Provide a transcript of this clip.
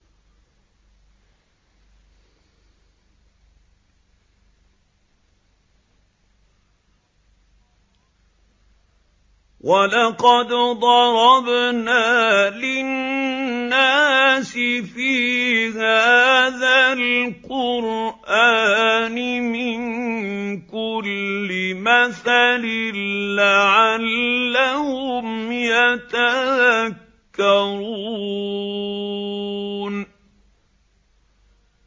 وَلَقَدْ ضَرَبْنَا لِلنَّاسِ فِي هَٰذَا الْقُرْآنِ مِن كُلِّ مَثَلٍ لَّعَلَّهُمْ يَتَذَكَّرُونَ